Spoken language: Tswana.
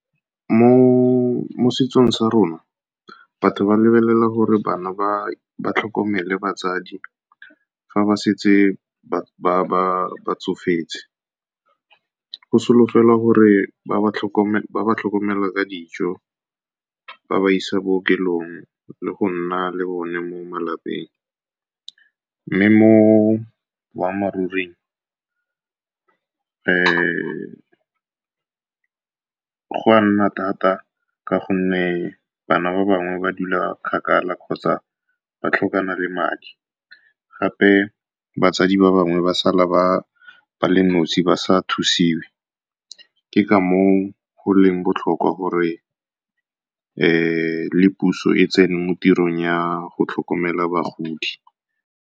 Mo setsong sa rona, batho ba lebelela gore bana ba tlhokomele batsadi fa ba setse ba tsofetse. Go solofelwa gore ba ba tlhokomele ka dijo, ba ba ise bookelong, le go nna le bone mo malapeng. Mme mo boammaaruring, go nna thata ka gonne bana ba bangwe ba dula kgakala kgotsa ba tlhokana le madi. Gape batsadi ba bangwe ba sala ba le nosi, ba sa thusiwe. Ke ka mo o go leng botlhokwa gore le puso e tsene mo tirong ya go tlhokomela bagodi.